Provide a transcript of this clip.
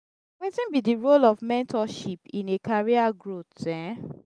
wetin be di role of mentorship in a career growth? um